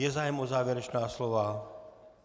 Je zájem o závěrečná slova?